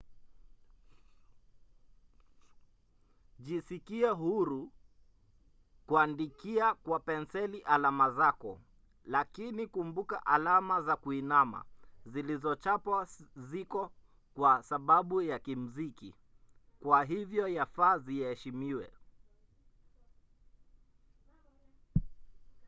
jisikie huru kuandika kwa penseli alama zako lakini kumbuka alama za kuinama zilizochapwa ziko kwa sababu ya kimziki kwa hivyo yafaa ziheshimiwe